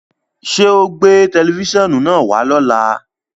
Ṣẹ́ o gbẹ̀ tẹlifísiọ́nù naá wà lọ́lá?